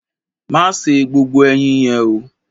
Má se gbogbo ẹyin yẹn o!